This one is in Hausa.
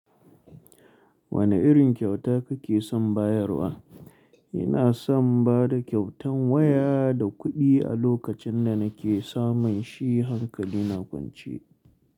Wane irin kyauta kake son bayarwa? Ina son ba da kyautan waya da kuɗi a lokacin da nake samun shi hankali na kwance.